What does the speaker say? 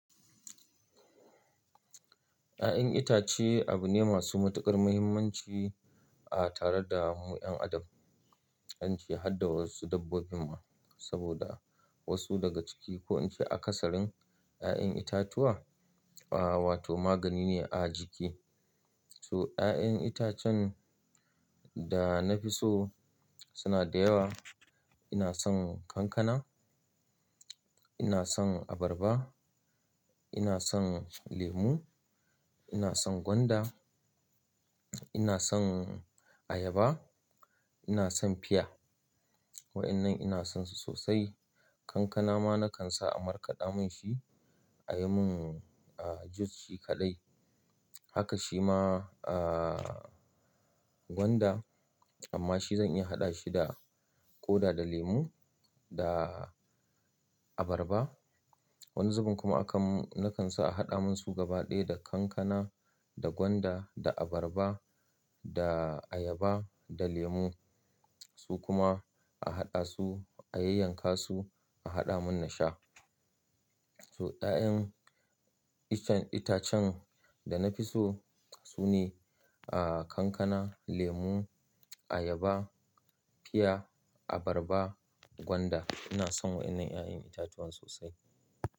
Ya'yan itace abu ne masu matuƙar muhimmanci a tare da mu 'yan adam. An ce hadda wasu dabbobin ma saboda wasu daga ciki ko ince aƙasarın ya'yan itatuwa, ah wato magani ne a jiki. So ya'yan itacen da na fi so suna da yawa. Ina son kankana, ina son abarba, ina son lemu, ina son gwanda, ina son ayaba, ina son fiya. Wa'innan ina son su sosai. Kankana ma na kan sa a markaɗa mun shi, a yi mun ah juice shi kaɗai. Haka shi ma ah gwanda amma shi zan iya haɗa shi da ƙoda da lemu da abarba. Wani zubin kuma akam na kan sa a haɗa mun su gaba ɗaya da kankana da gwanda da abarba da ayaba da lemu. Su kuma a haɗa su, a yayyanka su, a haɗa mun na sha. So ya'yan iccen itacen da na fi so sune ah kankana, lemu, ayaba, fiya, abarba, gwanda. Ina son wa'innan ya'yan itatuwan sosai.